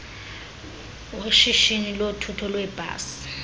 weshishini lothutho lweebhasi